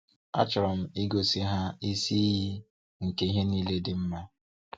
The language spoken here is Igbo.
Achọrọm igosi ha isi iyi nke ihe niile dị mma.